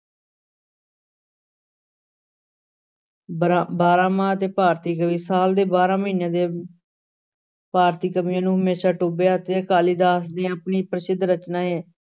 ਬਰਾਂ~ ਬਾਰਾਂਮਾਹ ਤੇ ਭਾਰਤੀ ਕਵੀ, ਸਾਲ ਦੇ ਬਾਰਾਂ ਮਹੀਨਿਆਂ ਦੇ ਭਾਰਤੀ ਕਵੀਆਂ ਨੂੰ ਹਮੇਸ਼ਾ ਟੁੰਬਿਆ ਤੇ ਕਾਲੀਦਾਸ ਦੀ ਆਪਣੀ ਪ੍ਰਸਿੱਧ ਰਚਨਾ ਹੈ।